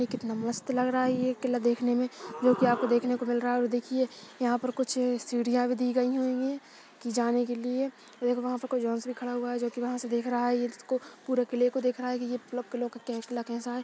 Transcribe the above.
ये कितना मस्त लग रहा है ये किला देखने में जोकि आपको देखने को मिल रहा है और देखिये यहाँ पर कुछ सीढ़ियां भी दी गयी हुई है की जाने के लिए ऐ गो वहाँ पर कोई जैन्ट्स खड़ा हुआ है जोकि वहाँ से कुछ देख रहा है ये जिसको पूरे किले को देख रहा है कि कैसा हैं।